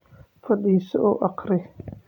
Fadhiiso oo akhri